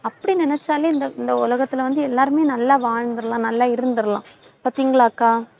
அப்படி நினைச்சாலே இந்த, இந்த உலகத்துல வந்து எல்லாருமே நல்லா வாழ்ந்திரலாம் நல்லா இருந்திரலாம். பார்த்தீங்களா அக்கா?